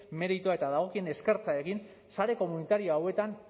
meritu eta dagokien eskertza egin sare komunitario hauetan